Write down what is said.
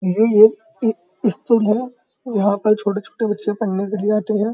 ये एक है। यहाँ पर छोटे-छोटे बच्चे पढ़ने के लिए आते हैं।